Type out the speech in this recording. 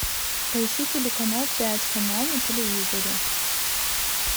поищи телеканал пять канал на телевизоре